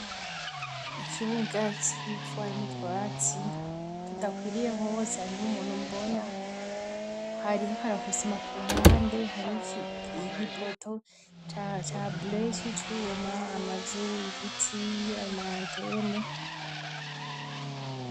Ikibuga kigwipfu harimo twatsi tudakwiriye hose harimo umuntu mbona hari h akarakusima ku ruhande hari igipoto ca blec cubuma amazu ibiti mantene.